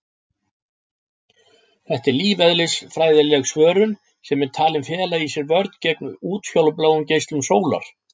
Þetta er lífeðlisfræðileg svörun sem er talin fela í sér vörn gegn útfjólubláum geislum sólar.